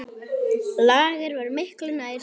Lager var miklu nær sanni.